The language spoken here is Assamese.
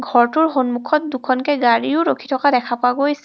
ঘৰটোৰ সন্মুখত দুখনকে গাড়ীও ৰখি থকা দেখা গৈছে.